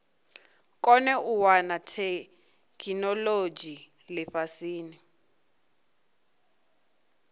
kone u wana theikinolodzhi lifhasini